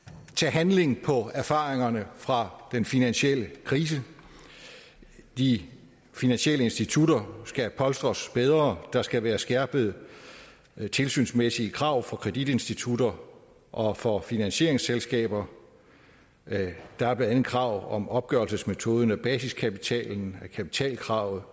handle på erfaringerne fra den finansielle krise de finansielle institutter skal polstres bedre der skal være skærpede tilsynsmæssige krav for kreditinstitutter og for finansieringsselskaber der er blandt andet krav om opgørelsesmetoden af basiskapitalen kapitalkravet